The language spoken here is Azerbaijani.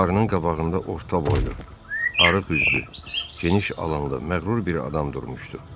Buxarının qabağında orta boylu, arıq üzlü, geniş alanda məğrur bir adam durmuşdu.